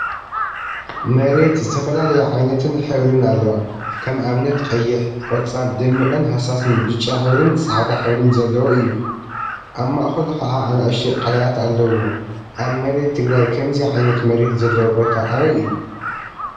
መሬት ዝተፈላለየ ዓይነትን ሕብሪን አለዋ፡፡ ከም አብነት ቀይሕ፣ ቆፃል፣ ደሚቅን ሃሳስን ብጫ ሕብሪን ፃዕዳ ሕብሪን ዘለዎ እዩ፡፡ አብ ማእከሉ ከዓ አናእሽተይ ቀላያት አለውዎ፡፡ አብ መሬት ትግራይ ከምዚ ዓይነት መሬት ዘለዎ ቦታ አበይ እዩ?